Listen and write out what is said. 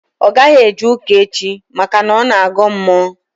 Ọ gaghị eje ụka echi maka na ọ na-agọ mmụọ